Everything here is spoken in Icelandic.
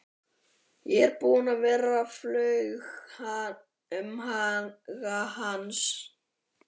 Ég er búinn að vera, flaug um huga hans.